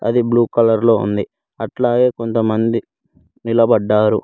అది blue colour లో ఉంది అట్లాగే కొంతమంది నిలబడ్డారు.